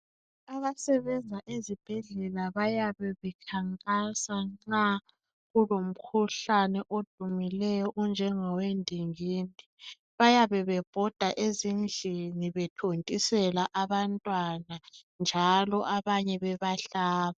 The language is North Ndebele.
Abasebenza ezibhedlela bayabe bekhankasa nxa kulomkhuhlane odumileyo onjengowe ndingindi bayabe bebhoda ezindlini bethontisela abantwana abanye njalo abanye bayabe bebahlaba.